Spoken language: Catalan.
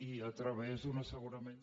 i a través d’un assegurament